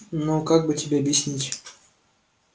ну как бы тебе объяснить